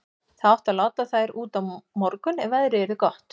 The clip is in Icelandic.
Það átti að láta þær út á morgun ef veðrið yrði gott.